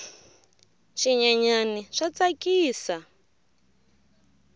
swinyenyani swa tsakisa